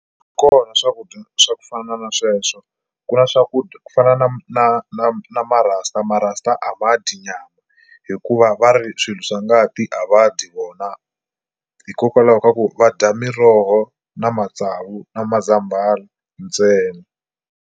Kona swakudya swa ku fana na sweswo ku na swakudya ku fana na na na na marasta marasta a va dyi nyama hikuva va ri swilo swa ngati a va dyi vona hikokwalaho ka ku va dya miroho na matsavu na mazambhala ntsena.